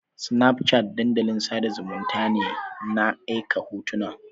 Snapchat dandalin sada zumunnta ne na aika hotuna